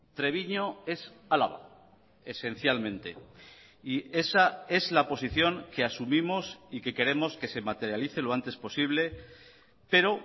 treviño es álava esencialmente y esa es la posición que asumimos y que queremos que se materialice lo antes posible pero